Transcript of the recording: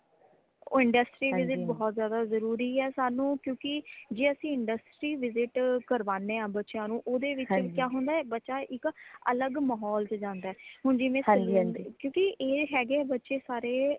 ਉਹ industry visit ਬਹੁਤ ਜ਼ਿਆਦਾ ਜ਼ਰੂਰੀ ਹੈ ਸਾਨੂ ਕਿਉਕਿ ਜੇ ਅਸੀਂ industry visit ਕਰਵਾਨੇ ਹਾਂ ਬੱਚਿਆਂ ਨੂ ਓਦੇ ਵਿਚ ਕਿਆ ਹੁੰਦਾ ਹੈ ਬੱਚਾ ਇਕ ਅਲਗ ਮਹੌਲ ਚ ਜਾਂਦਾ ਹੈ ਹੁਣ ਜਿਵੇ saloon ਕਿਉਕਿ ਇਹ ਹੈਗੇ ਬੱਚੇ ਸਾਰੇ